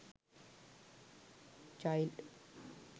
child